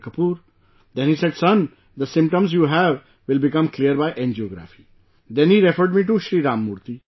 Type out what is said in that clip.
Kapoor, then he said son, the symptoms you have will become clear by angiography, then he referred me to ShriRam Murthy